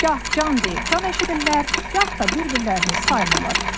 Gah can deyib can eşidirlər, gah da bir-birlərini saymırlar.